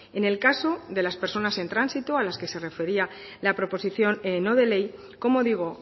en el caso de las personas en tránsito a las que se refería la proposición no de ley como digo